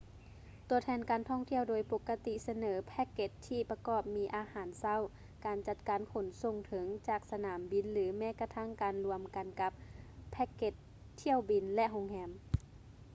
ຕົວແທນການທ່ອງທ່ຽວໂດຍປົກກະຕິສະເໜີແພ້ກເກັດທີ່ປະກອບມີອາຫານເຊົ້າ ການຈັດການຂົນສົ່ງເຖິງ/ຈາກສະໜາມບິນ ຫຼື ແມ້ກະທັ້ງການລວມກັນກັບແພ້ກເກັດຖ້ຽວບິນ ແລະ ໂຮງແຮມ